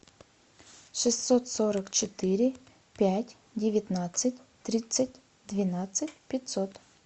шестьсот сорок четыре пять девятнадцать тридцать двенадцать пятьсот